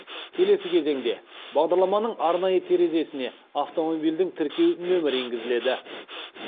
келесі кезеңде бағдарламаның арнайы терезесіне автомобильдің тіркеу нөмірі енгізіледі